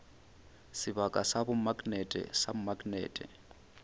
sebaka sa bomaknete sa maknete